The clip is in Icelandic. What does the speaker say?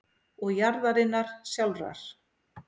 og jarðarinnar sjálfrar.